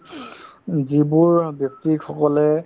উম, যিবোৰ অ ব্যক্তিসকলে